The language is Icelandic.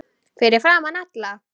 Fyrir framan alla?